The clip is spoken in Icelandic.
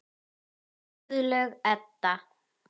Guðlaug Edda.